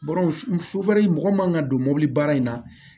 mɔgɔ man ka don mɔbili baara in na